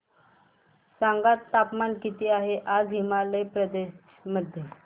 सांगा तापमान किती आहे आज हिमाचल प्रदेश मध्ये